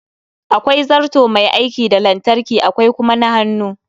Akwai zarto Mai aiki da lantarki akwai kuma na hannu